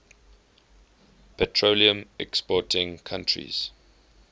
petroleum exporting countries